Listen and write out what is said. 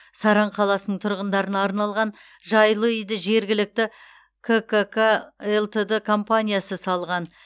саран қаласының тұғындарына арналған жайлы үйді жергілікті ккк лтд компаниясы салған